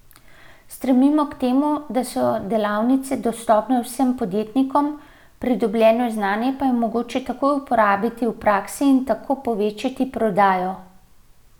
Stremimo k temu, da so delavnice dostopne vsem podjetnikom, pridobljeno znanje pa je mogoče takoj uporabiti v praksi in tako povečati prodajo.